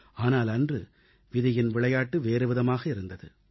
ஆனால் அன்று விதியின் விளையாட்டு வேறுவிதமாக இருந்தது